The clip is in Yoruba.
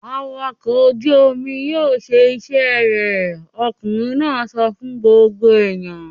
"Awakọ̀ ojú-omi yóò ṣe iṣẹ́ rẹ̀!" Ọkùnrin náà sọ fún gbogbo ènìyàn.